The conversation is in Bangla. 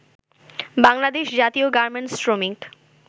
বাংলাদেশ জাতীয় গার্মেন্টস শ্রমিক